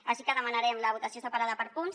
així que demanarem la votació separada per punts